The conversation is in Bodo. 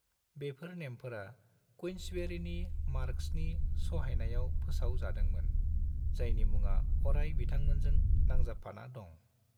बेफोर नेमफोरा क्वींसबेरीनि मार्कसनि सहायनायाव फोसाव जादोंमोन, जायनि मुङा अराय बिथांमोनजों नंजाबफाना दं।